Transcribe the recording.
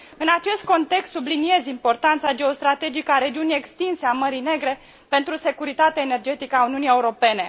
În acest context, subliniez importanța geostrategică a regiunii extinse a Mării Negre pentru securitatea energetică a Uniunii Europene.